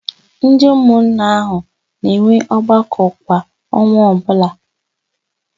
Ndị ụmụnna áhụ̀ na-enwe ọgbakọ kwa ọnwa ọbụla.